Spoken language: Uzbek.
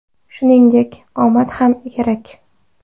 Shuningdek, omad ham kerak.